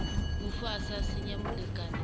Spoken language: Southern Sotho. mofu a sa siya molekane